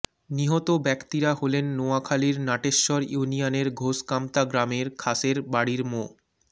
নিহত ব্যক্তিরা হলেন নোয়াখালীর নাটেশ্বর ইউনিয়নের ঘোষকামতা গ্রামের খাসের বাড়ির মো